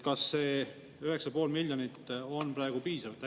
Kas see 9,5 miljonit on praegu piisav?